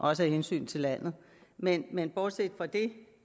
også af hensyn til landet men men bortset fra det